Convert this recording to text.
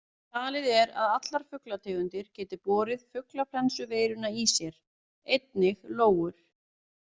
Talið er að allar fuglategundir geti borið fuglaflensuveiruna í sér, einnig lóur.